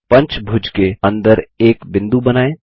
पंचभुज के अंदर एक बिंदु बनाएँ